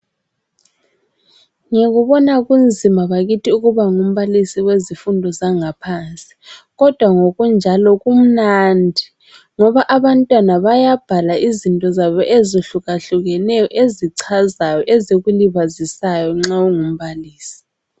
Ngikubona kunzima bakithi ukuba ngumbalisi wezifundo zangaphansi kodwa ngokunjalo kumnandi ngoba abantwana bayabhala izinto zabo ezihluka hlukeneyo ezichazayo ezikulibazisayo nxa ungumbalisi.